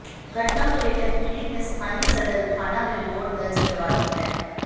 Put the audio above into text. घटना को लेकर पीडि़त ने स्थानीय सदर थाना में रिपोर्ट दर्ज करवा दी है